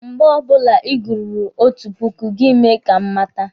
Mgbe ọbụla Ị gururu otu puku, gị mee ka m mata.